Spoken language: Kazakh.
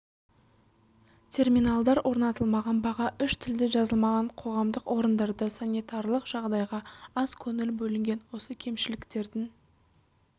терминалдар орнатылмаған баға үш тілде жазылмаған қоғамдық орындарда санитарлық жағдайға аз көңіл бөлінген осы кемшіліктердің